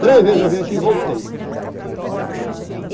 Três vezes eu vim aqui e voltei.